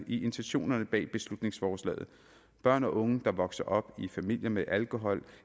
i intentionerne bag beslutningsforslaget børn og unge der vokser op i familier med alkohol